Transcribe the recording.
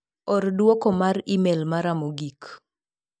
Or duoko mar imel mara mogik.